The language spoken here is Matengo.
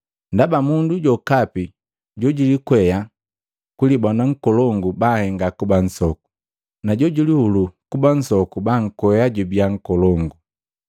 Ndaba mundu jokapi jojulikwea kulibona nkolongu banhenga kuba nsoku, najojulihulu kuba nsoku bankwea jubiya nkolongu.”